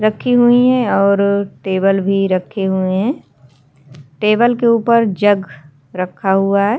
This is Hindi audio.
रखी हुईं हैं और टेबल भी रखे हुए हैं टेबल के ऊपर जग रखा हुआ है।